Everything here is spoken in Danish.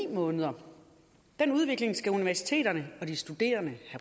måneder den udvikling skal universiteterne og de studerende